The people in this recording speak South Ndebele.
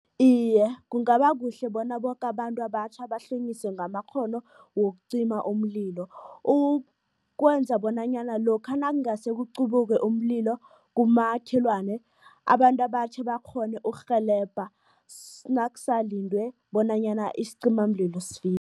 Iye, kungaba kuhle bona boke abantu abatjha bahlonyiswe ngamakghono wokucima umlilo, ukwenza bonanyana lokha nakungase kuqubuke umlilo kumakhelwane, abantu abatjha bakghone ukurhelebha nakusalindwe bonanyana isicimamlilo